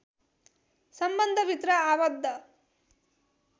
सम्बन्धभित्र आवद्ध